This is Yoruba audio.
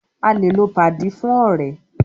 A lè lò padi fún ọ̀rẹ́.